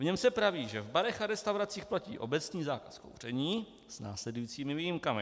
V něm se praví, že v barech a restauracích platí obecný zákaz kouření s následujícími výjimkami.